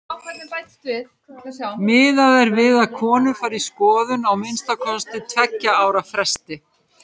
Miðað er við að konur fari í skoðun á að minnsta kosti tveggja ára fresti.